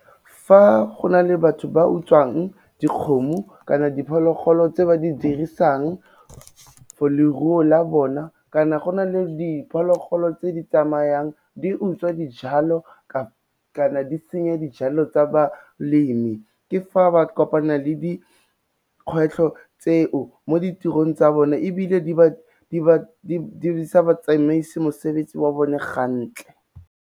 Fa go na le batho ba utswang dikgomo kana diphologolo tse ba di dirisang for leruo la bona, kana go na le diphologolo tse di tsamayang di utswa dijalo kana di senya dijalo tsa balemi ke fa ba kopana le dikgwetlho tseo mo ditirong tsa bone, ebile di sa ba tsamaisi mosebetsi wa bone gantle.